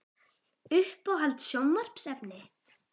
Uppáhalds sjónvarpsefni?